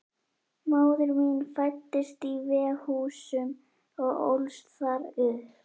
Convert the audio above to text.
Móðir mín fæddist í Veghúsum og ólst þar upp.